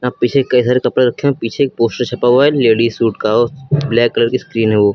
यहां पीछे कई सारे कपड़ा रखे हैं। पीछे एक पोस्टर छपा हुआ है लेडीज सूट का और ब्लैक कलर की स्क्रीन है वो।